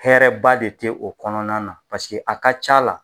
Hɛrɛba de te o kɔnɔna na paseke a ka c'a la